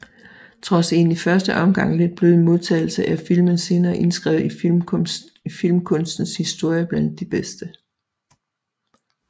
Trods en i første omgang lidt blød modtagelse er filmen senere indskrevet i filmkunstens historie blandt de bedste